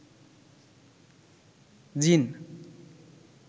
জ্বিন